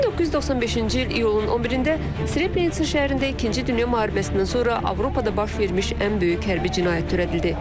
1995-ci il iyulun 11-də Srebrenitsa şəhərində İkinci Dünya Müharibəsindən sonra Avropada baş vermiş ən böyük hərbi cinayət törədildi.